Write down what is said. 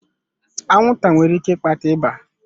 Anwụnta nwere ike ịkpata ịba.